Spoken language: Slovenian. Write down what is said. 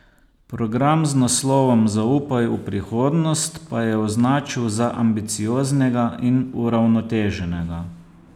Program z naslovom Zaupaj v prihodnost pa je označil za ambicioznega in uravnoteženega.